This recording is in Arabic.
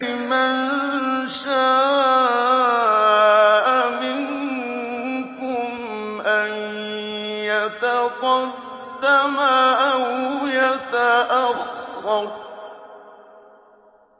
لِمَن شَاءَ مِنكُمْ أَن يَتَقَدَّمَ أَوْ يَتَأَخَّرَ